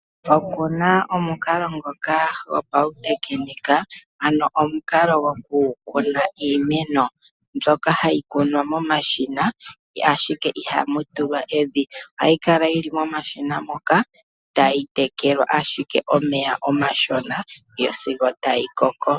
Oku na omukalo gopautekinika, ano omukalo gokukuna iimeno mbyoka hayi kunwa momashina, ashike ihamu tulwa evi. Ohayi kala yi li momashina moka tayi tekelwa ashike omeya omashona sigo tayi koko.